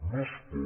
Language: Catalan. no es pot